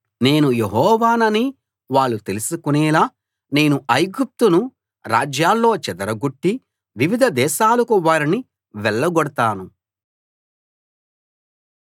నేను యెహోవానని వాళ్ళు తెలుసుకునేలా నేను ఐగుప్తును రాజ్యాల్లో చెదర గొట్టి వివిధ దేశాలకు వారిని వెళ్లగొడతాను